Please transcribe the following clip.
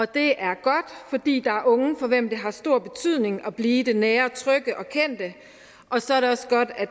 det er godt fordi der er unge for hvem det har stor betydning at blive i det nære og trygge og kendte og så er det også godt at